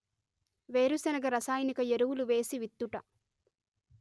వేరుశనగ రసాయనిక ఎరువులు వేసి విత్తుట